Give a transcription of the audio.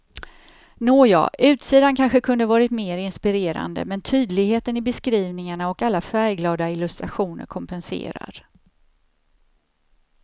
Nåja, utsidan kanske kunde varit mer inspirerande, men tydligheten i beskrivningarna och alla färgglada illustrationer kompenserar.